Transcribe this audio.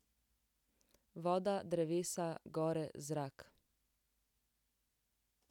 Voda, drevesa, gore, zrak ...